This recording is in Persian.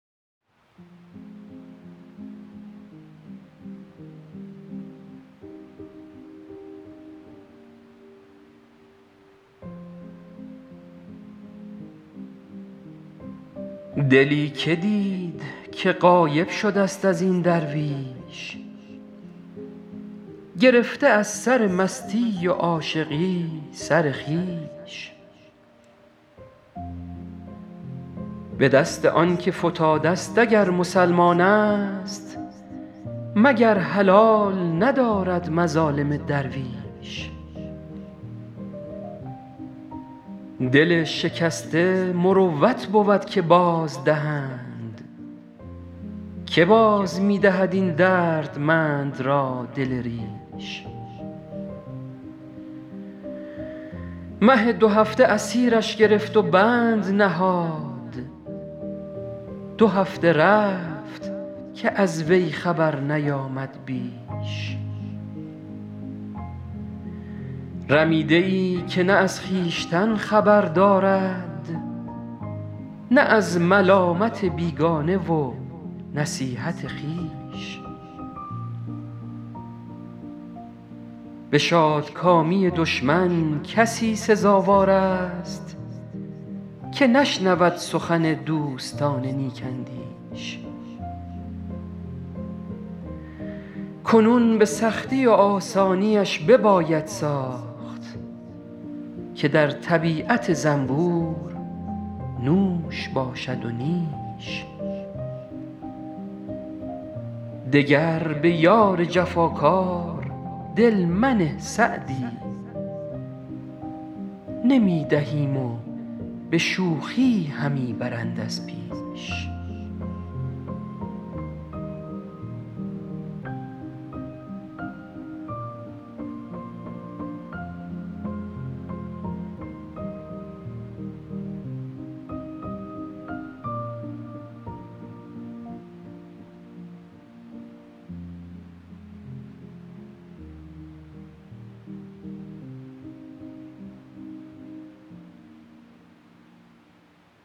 دلی که دید که غایب شده ست از این درویش گرفته از سر مستی و عاشقی سر خویش به دست آن که فتاده ست اگر مسلمان است مگر حلال ندارد مظالم درویش دل شکسته مروت بود که بازدهند که باز می دهد این دردمند را دل ریش مه دوهفته اسیرش گرفت و بند نهاد دو هفته رفت که از وی خبر نیامد بیش رمیده ای که نه از خویشتن خبر دارد نه از ملامت بیگانه و نصیحت خویش به شادکامی دشمن کسی سزاوار است که نشنود سخن دوستان نیک اندیش کنون به سختی و آسانیش بباید ساخت که در طبیعت زنبور نوش باشد و نیش دگر به یار جفاکار دل منه سعدی نمی دهیم و به شوخی همی برند از پیش